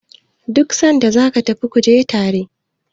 duk sanda za ka tafi ku je tare!